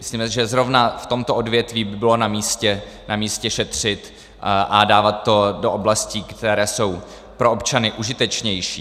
Myslíme si, že zrovna v tomto odvětví by bylo namístě šetřit a dávat to do oblastí, které jsou pro občany užitečnější.